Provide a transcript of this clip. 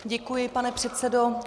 Děkuji, pane předsedo.